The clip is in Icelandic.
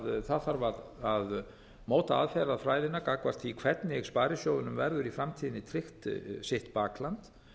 það þarf að móta aðferðafræðina gagnvart því hvernig sparisjóðunum verður í framtíðinni tryggt sitt bakland